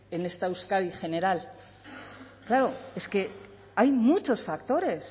en esta euskadi general claro es que hay muchos factores